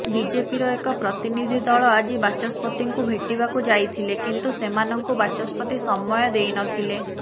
ବିଜେପିର ଏକ ପ୍ରତିନିଧି ଦଳ ଆଜି ବାଚସ୍ପତିଙ୍କୁ ଭେଟିବାକୁ ଯାଇଥିଲେ କିନ୍ତୁ ସେମାନଙ୍କୁ ବାଚସ୍ପତି ସମୟ ଦେଇନଥିଲେ